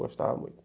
Gostava muito.